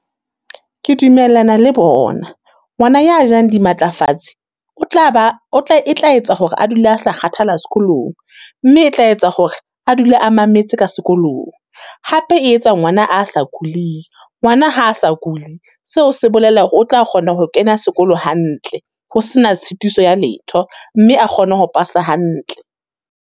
Ke dumellana le bona, ngwana ya jang di matlafatse, o tla ba o tla, e tla etsa hore a dula a sa kgathala sekolong. Mme e tla etsa hore a dula a mametse ka sekolong. Hape e etsa ngwana a sa kuling, ngwana ha a sa kuli, seo se bolela o tla kgona ho kena sekolo hantle, ho sena tshitiso ya letho. Mme a kgone ho pasa hantle.